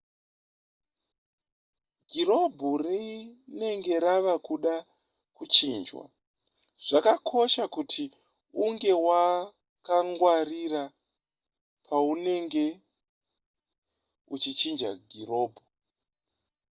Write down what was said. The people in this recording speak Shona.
girobhu rinenge rava kuda kuchinjwa zvakakosha kuti unge wakangwarira paunenge uchichinja girobhu